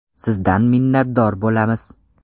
Sizdan minnatdor bo‘lamiz!